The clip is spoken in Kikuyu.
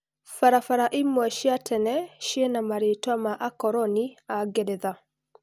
Barabara imwe cia tene ciĩna marĩtwa ma-Akoroni a-Ngeretha.